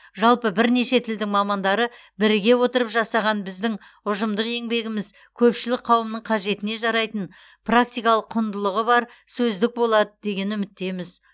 жалпы бірнеше тілдің мамандары біріге отырып жасаған біздің ұжымдық еңбегіміз көпшілік қауымның қажетіне жарайтын практикалық құндылығы бар сөздік болады деген үміттеміз